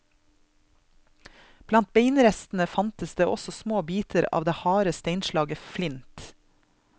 Blant beinrestene fantes det også små biter av det harde steinslaget flint.